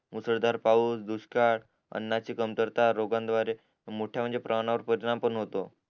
मुसरधाळ पाऊस दुष्काळ अन्नाची कमतरता रोगांद्वारे मोठ्या म्हणजे परिणाम पण होतो